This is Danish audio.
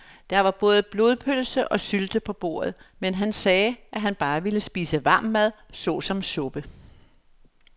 Der var både blodpølse og sylte på bordet, men han sagde, at han bare ville spise varm mad såsom suppe.